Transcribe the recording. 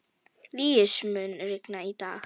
Líus, mun rigna í dag?